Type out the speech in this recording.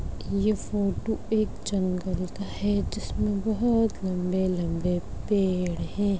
ये फोटो एक जंगल का है जिसमे बहुत लंबे-लंबे पेड़ है।